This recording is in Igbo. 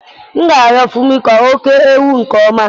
M ga-arịọ Femi ka o kee ewu nke ọma.